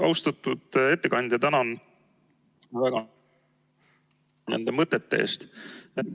Austatud ettekandja, tänan väga nende mõtete eest!